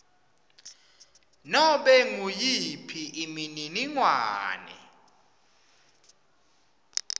nobe nguyiphi imininingwane